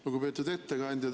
Lugupeetud ettekandja!